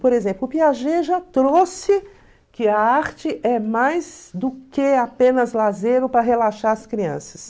Por exemplo, o Piaget já trouxe que a arte é mais do que apenas lazer ou para relaxar as crianças.